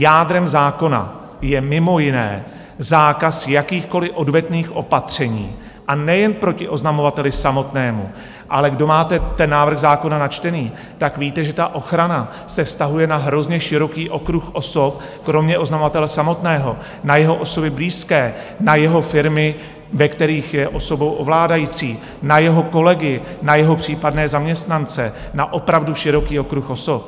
Jádrem zákona je mimo jiné zákaz jakýchkoliv odvetných opatření, a nejen proti oznamovateli samotnému, ale kdo máte ten návrh zákona načtený, tak víte, že ta ochrana se vztahuje na hrozně široký okruh osob, kromě oznamovatele samotného na jeho osoby blízké, na jeho firmy, ve kterých je osobou ovládající, na jeho kolegy, na jeho případné zaměstnance, na opravdu široký okruh osob.